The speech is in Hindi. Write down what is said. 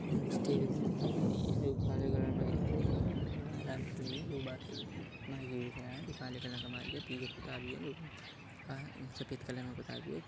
टेबल सी दिखाई दे रही है जो काले कलर में दिखाई दे रही है महिला भी है जो बात कर रही है माइक में जो काले कलर का माइक है पीछे पुता भी है जो सफेद कलर में पुताया भी है।